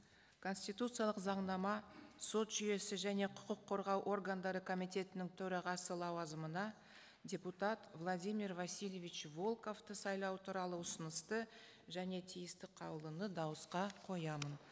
конституциялық заңнама сот жүйесі және құқық қорғау органдары комитетінің төрағасы лауазымына депутат владимир васильевич волковты сайлау туралы ұсынысты және тиісті қаулыны дауысқа қоямын